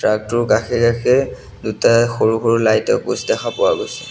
Truck টোৰ কাষে-কাষে দুটা সৰু সৰু লাইট ৰ প'ষ্ট দেখা পোৱা গৈছে।